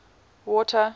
water